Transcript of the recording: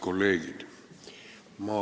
Kolleegid!